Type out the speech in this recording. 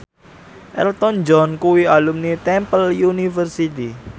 Elton John kuwi alumni Temple University